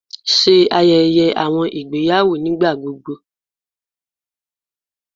Ṣe ayẹyẹ awọn igbeyawo nigbagbogbo